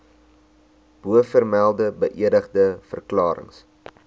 bovermelde beëdigde verklarings